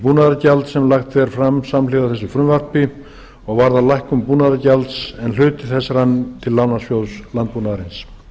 sem lagt er fram samhliða þessu frumvarpi og varðar lækkun búnaðargjalds en hluti þess rann til lánasjóðs landbúnaðarins